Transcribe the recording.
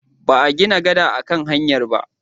Ba a gina gada a kan hanyar ba.